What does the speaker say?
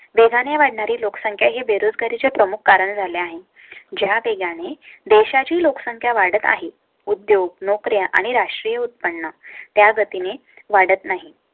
वेगाने वाढ णारी लोकसंख्या हे बेरोजगारी चे प्रमुख कारण झालें आहे. ज्या वेगाने देशा ची लोकसंख्या वाढत आहे. उद्योग, नोकरी आणि राष्ट्रीय उत्पन्न त्या गतीने वाढत नाही,